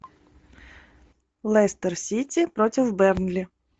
лестер сити против бернли